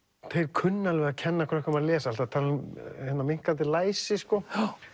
kunna alveg að kenna krökkum að lesa alltaf talað um minnkandi læsi sko